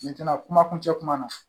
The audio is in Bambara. kuma kuncɛ kuma na